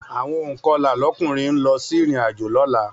Àwọn ònkọlà lóbìnrin ń lọ sí ìrìnàjò lọ́la